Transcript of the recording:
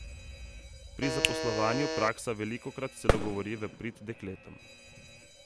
Pri zaposlovanju praksa velikokrat celo govori v prid dekletom.